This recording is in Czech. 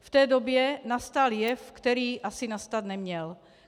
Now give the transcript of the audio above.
V té době nastal jev, který asi nastat neměl.